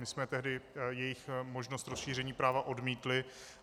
My jsme tehdy jejich možnost rozšíření práva odmítli.